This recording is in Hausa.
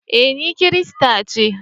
Eh, ni kirista ce.